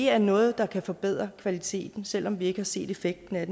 er noget der kan forbedre kvaliteten selv om vi ikke har set effekten af